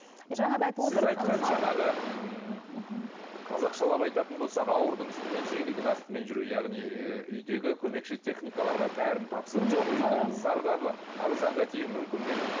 қазақшалап айтатын болсақ ауырдың үстімен жеңілдің астымен жүру яғни үйдегі көмекші техникаларға бәрін тапсырып қоюдың зардабы аружанға тиюі мүмкін бе